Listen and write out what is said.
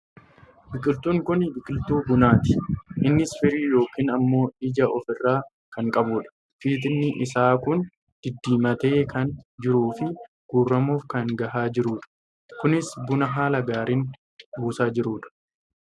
Biqiltuun kun biqiltuu bunaati. Innis firii yookaan ammoo ija of irraa kan qabudha. Fitiin isaa kun diddiimatee kan jiruu fi guurramuuf kan gahaa jirudha. Kunis buna haala gaariin buusaa jirudha.